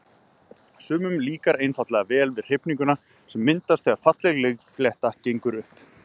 Sumum líkar einfaldlega vel við hrifninguna sem myndast þegar falleg leikflétta gengur upp.